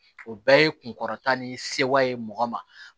O bɛɛ ye kunkɔrɔta ni sewa ye mɔgɔ ma